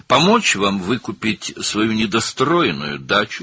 Bitməmiş bağ evinizi geri almağınıza kömək etmək istəyirəm.